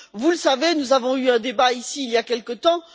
Vous le savez, nous avons eu un débat ici il y a quelque temps.